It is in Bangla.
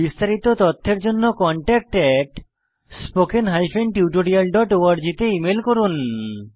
বিস্তারিত তথ্যের জন্য contactspoken tutorialorg তে ইমেল করুন